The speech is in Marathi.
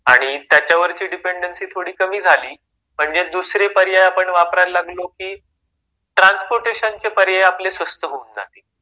आणि त्याच्यावरची डिपेंडन्सी थोडी कमी झाली म्हणजे दुसरे पर्याय आपण वापरायला लागलो की म्हणजे ट्रान्सपोर्टेशन चे पर्याय आपल्याला स्वस्त होऊन जातील.